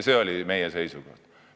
See oli meie seisukoht.